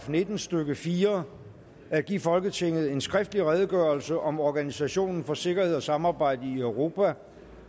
nitten stykke fire at give folketinget en skriftlig redegørelse om organisationen for sikkerhed og samarbejde i europa